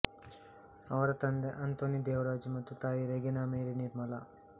ಅವರ ತಂದೆ ಅಂತೋನಿ ದೇವರಾಜ್ ಮತ್ತು ತಾಯಿ ರೆಗೀನಾ ಮೇರಿ ನಿರ್ಮಲ